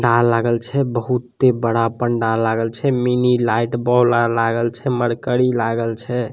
लागल छै बहुत बड़ा पंडाल लागल छै मिनी लाइट बॉल्ब लागल छै मरकरी लागल छै।